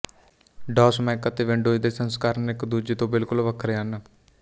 ਡੌਸ Mac ਅਤੇ Windows ਦੇ ਸੰਸਕਰਣ ਇੱਕ ਦੂਜੇ ਤੋਂ ਬਿਲਕੁਲ ਵੱਖਰੇ ਹਨ